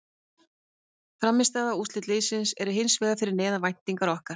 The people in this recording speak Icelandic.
Frammistaða og úrslit liðsins er hins vegar fyrir neðan væntingar okkar.